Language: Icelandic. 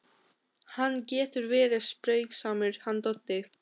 Hann getur verið spaugsamur hann Doddi.